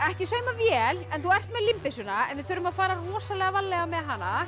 ekki saumavél en þú ert með en við þurfum að fara rosalega varlega með hana